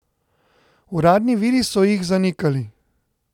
Uradni viri so jih zanikali.